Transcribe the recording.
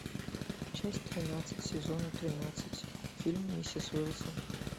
часть тринадцать сезона тринадцать фильм миссис уилсон